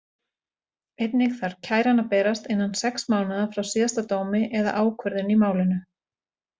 Einnig þarf kæran að berast innan sex mánaða frá síðasta dómi eða ákvörðun í málinu.